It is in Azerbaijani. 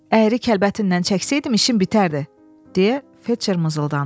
Əyri kəlbətinnən çəksəydim işim bitərdi, deyə felçer mızıldandı.